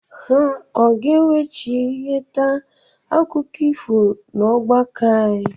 Ha ọ ga-eweghachite akụkọ ifo n'ọgbakọ anyị?